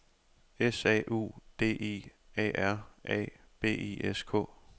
S A U D I A R A B I S K